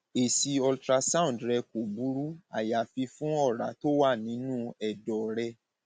èsì ultrasound rẹ kò burú àyàfi fún ọrá tó wà nínú ẹdọ rẹ